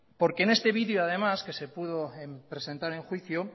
porque en este video además que se pudo presentar en juicio